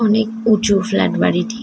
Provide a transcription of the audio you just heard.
অনেক উঁচু ফ্লাট বাড়িটি ।